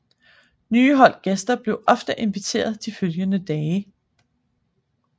Nye hold gæster blev ofte inviteret de følgende dage